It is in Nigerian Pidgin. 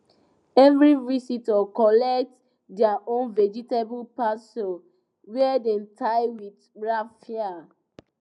every visitor collect their own vegetable parcel wey dem tie with raffia